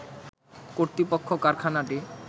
কর্তৃপক্ষ কারখানাটি